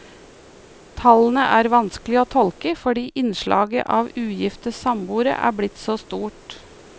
Tallene er vanskelige å tolke fordi innslaget av ugifte samboere er blitt så stort.